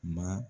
Ma